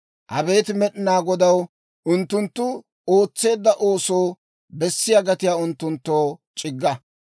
Abeet Med'inaa Godaw, unttunttu ootseedda oosoo bessiyaa gatiyaa unttunttoo c'igga!